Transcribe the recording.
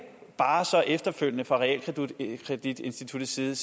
bare efterfølgende fra realkreditinstituttets side